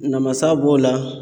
Namasa b'o la.